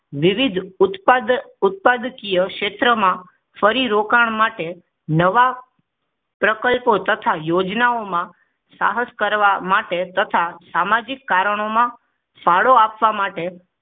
વિવિધ ઉત્પાદ ઉત્પાદકીય ક્ષેત્રો માં ફરી રોકાણ માટે નવા પ્રકલ્પો તથા યોજનામાં સાહસ કરવા માટે તથા સામાજિક કારણોમાં ફાળો આપવા માટે